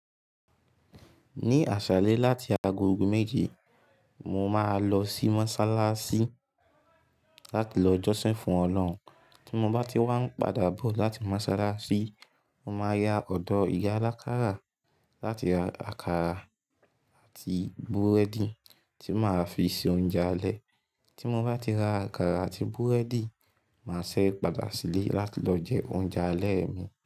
Ní àsàlẹ láti agogo méje, mo máa lọ sí mọ́sálásí láti lọ jọ́sìn fún Ọlọ́hun. Tí mo bá ti wá ń padà bọ̀ láti mọ́sálásí, mo máa ya ọ̀dọ̀ ìyá alákarà láti ra àkàrà àti búrẹ́dì tí màá fi ṣe oúnjẹ alẹ́. Tí mo bá ti ra àkàrà àti búrẹ́dì, màá ṣẹ̀ padà sílé láti lọ jẹ oúnjẹ alẹ́ mi.